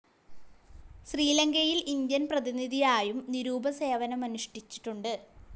ശ്രീലങ്കയിലെ ഇന്ത്യൻ പ്രതിനിധിയായും നിരുപമ സേവനമനുഷ്ടിച്ചിട്ടുണ്ട്.